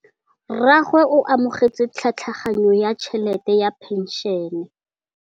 Rragwe o amogetse tlhatlhaganyô ya tšhelête ya phenšene.